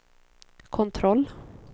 kontroll